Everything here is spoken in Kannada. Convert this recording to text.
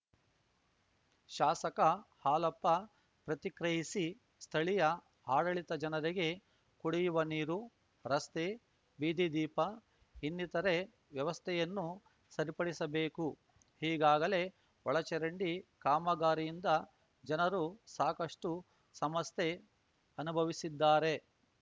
ಶಾಸಕ ಹಾಲಪ್ಪ ಪ್ರತಿಕ್ರಿಯಿಸಿ ಸ್ಥಳೀಯ ಆಡಳಿತ ಜನರಿಗೆ ಕುಡಿಯುವ ನೀರು ರಸ್ತೆ ಬೀದಿದೀಪ ಇನ್ನಿತರೆ ವ್ಯವಸ್ಥೆಯನ್ನು ಸರಿಪಡಿಸಬೇಕು ಈಗಾಗಲೇ ಒಳಚರಂಡಿ ಕಾಮಗಾರಿಯಿಂದ ಜನರು ಸಾಕಷ್ಟುಸಮಸ್ಯೆ ಅನುಭವಿಸಿದ್ದಾರೆ